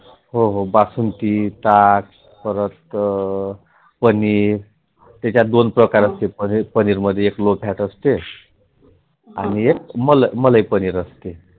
हो हो बासुंदी, ताक परत पनीर त्यात दोन प्रकार असते एक लोफ्यात असते आणि एक मलई पनीर असते.